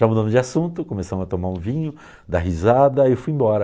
Já mudando de assunto, começamos a tomar um vinho, dar risada e fui embora.